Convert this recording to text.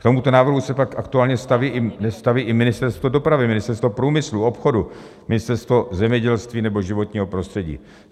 K tomuto návrhu se tak aktuálně nestaví i Ministerstvo dopravy, Ministerstvo průmyslu, obchodu, Ministerstvo zemědělství nebo životního prostředí.